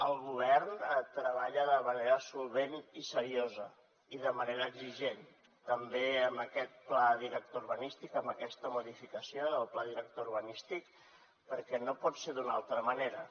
el govern treballa de manera solvent i seriosa i de manera exigent també amb aquest pla director urbanístic amb aquesta modificació del pla director urbanístic perquè no pot ser d’una altra manera